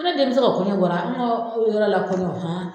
N ko ne denmusow ka kɔɲɔ bɔra an ka yɔrɔ la kɔɲɔ han